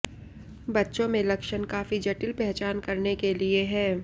बच्चों में लक्षण काफी जटिल पहचान करने के लिए है